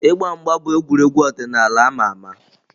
Ịgba mgba bụ egwuregwu ọdịnala ama ama